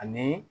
Ani